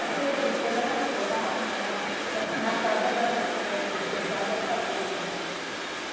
Eu sei que depois ela ficou na, na na casa da da da da dos pessoal da fazenda.